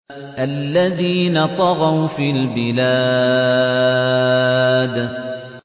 الَّذِينَ طَغَوْا فِي الْبِلَادِ